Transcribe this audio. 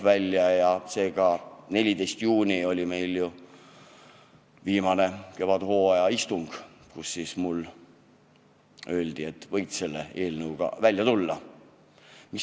14. juunil oli meil viimane kevadhooaja istung ja siis mulle öeldi, et võid selle eelnõuga välja tulla.